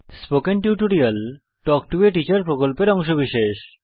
spoken tutorial talk to a teacher প্রকল্পের অংশবিশেষ